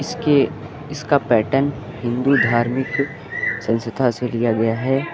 इसके इसका पैटर्न हिंदू धार्मिक संस्था से लिया गया है।